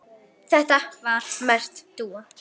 Þetta var merkt dúfa.